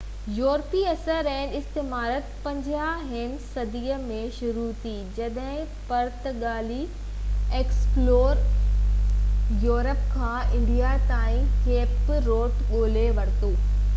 يورپي اثر ۽استعماريت 15 هين صدي ۾ شروع ٿي جڏهن پرتگالي ايڪسپلورر واسڪو دا گاما يورپ کان انڊيا تائين ڪيپ روٽ ڳولهي ورتو